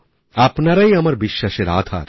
আপনারাই আমার বিশ্বাসের আধার